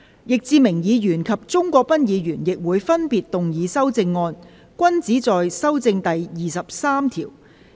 易志明議員及鍾國斌議員亦會分別動議修正案，均旨在修正第23條。